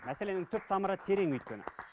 мәселенің түп тамыры терең өйткені